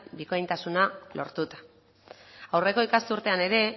bikaintasuna lortuta aurreko ikasturtean ere